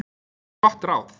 Gott ráð!